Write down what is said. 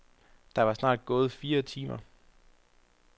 Der var snart gået fire timer.